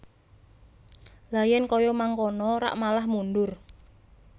Lha yen kaya mangkono rak malah mundur